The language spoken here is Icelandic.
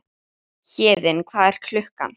Héðinn, hvað er klukkan?